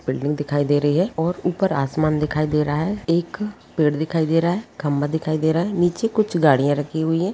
Building दिखाई दे रही है और ऊपर आसमान दिखाई दे रहा है एक पेड़ दिखाई दे रहा है खंबा दिखाई दे रहा है नीचे कुछ गड़ियां रखी हुई है।